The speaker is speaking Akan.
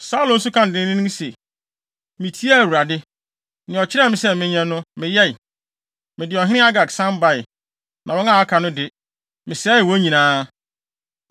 Saulo nso kaa no denneennen se, “Mitiee Awurade. Nea ɔkyerɛɛ me sɛ menyɛ no, meyɛe. Mede ɔhene Agag san bae. Na wɔn a aka no de, mesɛee wɔn nyinaa.